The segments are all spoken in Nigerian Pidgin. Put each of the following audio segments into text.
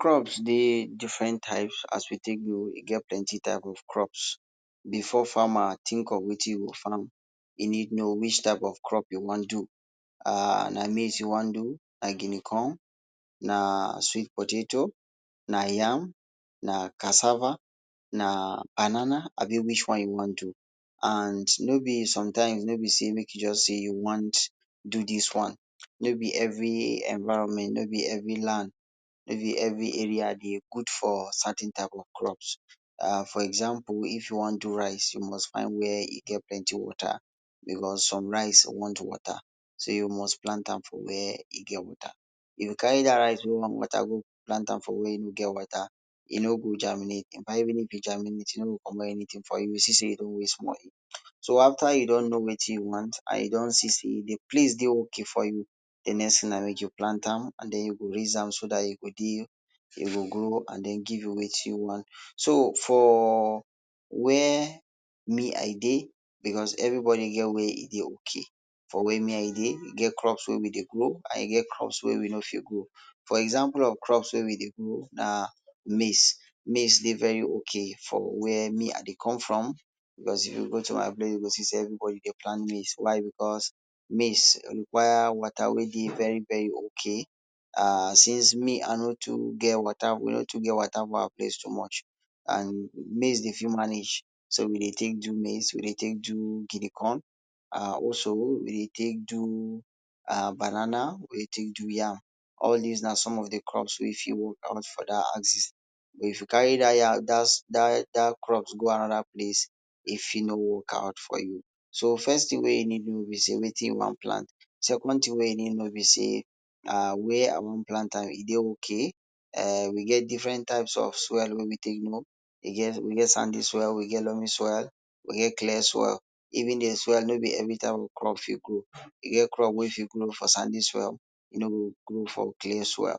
Crops dey different type as we take no, e get plenty types of crops before farmer tink wetin im go farm. E need no which type of crop im wan do. Na maize em wan do ,na guinea corn, na sweet potatoes, na yam, na cassava, na banana abi which one you wan do and no be sometimes no be say make you sey wan do dis one, no be every environment, no be every land, no be every area de good for certain type of crops um for example, if you wan do rice you must find where e get plenty water, becos some rice want water so you must plant am for where e get water, if you carry dat rice wey want water carry am go plant where no get water, e no go germinate infact if e germinate e no go comot anything you go see say you don waste moni, so after you don no wetin you want, you don see say de place dey ok for you, de next tin na make u plant am and den you go raise am and den e go grow give you wetin you want. So for where me I dey, becos everybody get where im dey ok, for where me I dey, e get crops wey we dey grow and e get crops wey we no de fit grow, for example of crops wey we dey grow na maize, maize dey very ok for where me I dey come from, plus if you go to my place you go see sey everybody dey plant maize becos maize require water wey de very very ok. [um]Since me I no too get water, we no too get water for my place too much and maize dey fit manage so we dey take do maize we dey take do guinea corn um also we dey take do um banana we dey take do yam all dis na some of de crop wey fit workout for that axis but if you carry dat dat dat crops go another place e fit no work out for you. So first tin wey you need do be say, wetin you want plant second tin wey you need no be sey um where I want plant am e dey ok. We get different types of soil wey we take no, we get sandy soil we get loamy soil, we get clay soil, even de soil no be every type of crop fit grow, e get crop wey fit grow for sandy soil, e no go grow for clay soil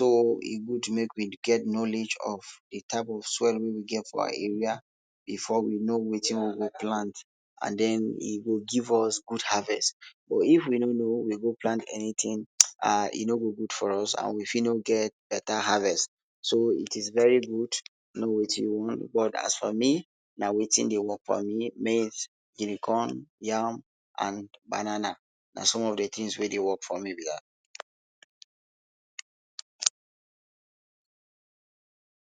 or e good make we get knowledge of de type soil wey we get for our area before we no wetin we go plant and den e go give us good harvest, but if we no no we go plant anything um e no go good for us and we fit no go get beta harvest so it is very good to no wetin you want but as for me na wetin dey work for me maize, guinea corn, yam and banana na some of de tins wey dey work for me be dat.